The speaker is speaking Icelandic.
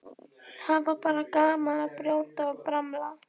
Hafa bara gaman af að brjóta og bramla.